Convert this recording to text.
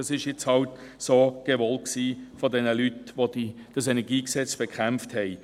Das war halt so gewollt von diesen Leuten, die das KEnG bekämpften.